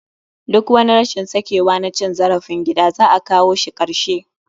Duk wani rashin sakewa na cin zarafin gida, za a kawo shi karshe.